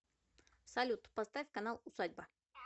салют поставь канал усадьба